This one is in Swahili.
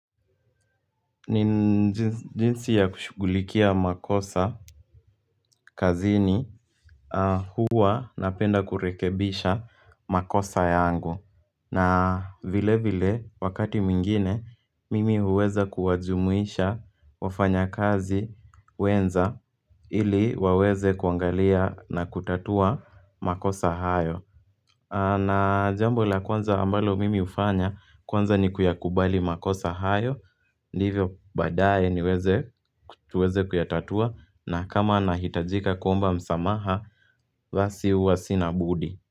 Ni jinsi ya kushughulikia makosa kazini Huwa napenda kurekebisha makosa yangu na vilevile wakati mwingine mimi huweza kuwajumuisha wafanya kazi wenza ili waweze kuangalia na kutatua makosa hayo. Na jambo la kwanza ambalo mimi hufanya kwanza ni kuyakubali makosa hayo, Ndivyo baadaye niweze tuweze kuyatatua na kama nahitajika kuomba msamaha, basi huwa sina budi.